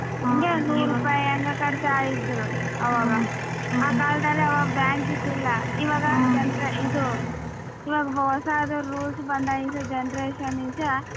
ಅಂಗೆ ನೂರುಪಾಯಿ ಅಂಗೆ ಕಟ್ತಾ ಇದ್ರು ಅವಾಗ ಆ ಕಾಲದಲ್ಲಿ ಅವಾಗ bank ಇದ್ದಿಲ್ಲ ಇವಾಗ ಇದು ಇವಾಗ ಹೊಸದು rules ಬಂದಾಗಿನಿಂದ generation ಗೆ.